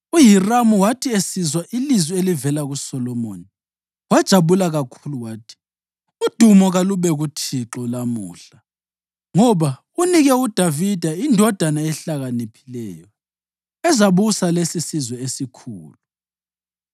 UHiramu wathi esizwa ilizwi elivela kuSolomoni, wajabula kakhulu wathi, “Udumo kalube kuThixo lamuhla, ngoba unike uDavida indodana ehlakaniphileyo ezabusa lesisizwe esikhulu.”